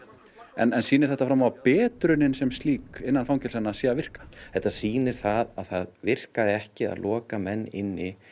en sýnir þetta fram á að betrunin sem slík innan fangelsanna sé að virka þetta sýnir að það virkaði ekki að loka menn inni